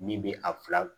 Min bɛ a fila